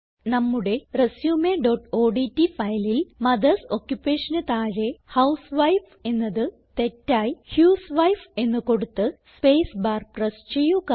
നമ്മുടെ resumeഓഡ്റ്റ് ഫയലിൽ മദർസ് Occupationന് താഴെ ഹൌസ്വൈഫ് എന്നത് തെറ്റായി ഹ്യൂസ്വൈഫ് എന്ന് കൊടുത്ത് സ്പേസ് ബാർ പ്രസ് ചെയ്യുക